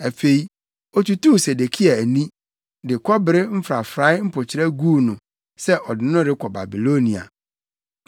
Afei otutuu Sedekia ani, de kɔbere mfrafrae mpokyerɛ guu no sɛ ɔde no rekɔ Babilonia.